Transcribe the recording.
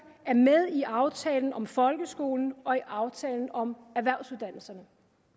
er med i aftalen om folkeskolen og i aftalen om erhvervsuddannelserne